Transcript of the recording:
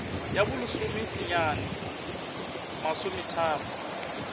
ya bo lesome senyane masometharo